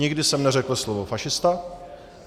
Nikdy jsem neřekl slovo fašista.